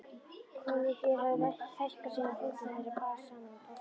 Kollvikin höfðu hækkað síðan fundum þeirra bar saman um páskana.